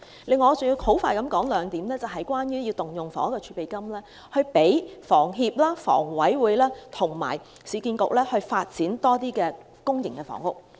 此外，我要快速地說明兩點，是有關動用房屋儲備金支持香港房屋協會、香港房屋委員會和市區重建局發展更多公營房屋。